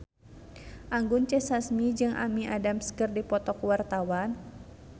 Anggun C. Sasmi jeung Amy Adams keur dipoto ku wartawan